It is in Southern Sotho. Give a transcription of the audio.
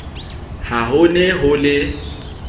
ha ho ne ho le